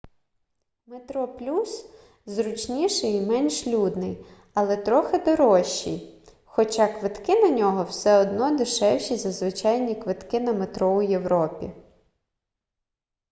метроплюс зручніший і менш людний але трохи дорожчий хоча квитки на нього все одно дешевші за звичайні квитки на метро у європі